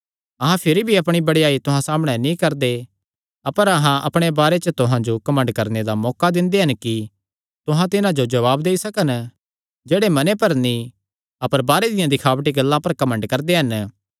अहां भिरी भी अपणी बड़ेयाई तुहां सामणै नीं करदे अपर अहां अपणे बारे च तुहां जो घमंड करणे दा मौका दिंदे हन कि तुहां तिन्हां जो जवाब देई सकन जेह्ड़े मने पर नीं अपर बाहरे दियां दखावटी गल्लां पर घमंड करदे हन